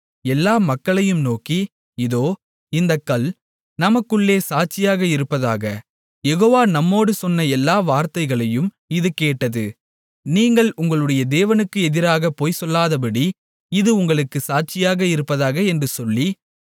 எல்லா மக்களையும் நோக்கி இதோ இந்தக் கல் நமக்குள்ளே சாட்சியாக இருப்பதாக யெகோவா நம்மோடு சொன்ன எல்லா வார்த்தைகளையும் இது கேட்டது நீங்கள் உங்களுடைய தேவனுக்கு எதிராகப் பொய்சொல்லாதபடி இது உங்களுக்குச் சாட்சியாக இருப்பதாக என்று சொல்லி